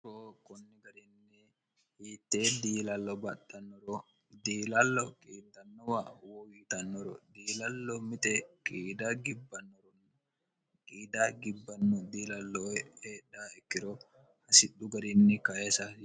roo kunni garinni hiitte diilallo baxxannoro diilallo qiittannowa wo yiitannoro diilallo mite qiid gibnoronn qiida gibbanno diilalloe eedha ikkiro hasidhu garinni kaesai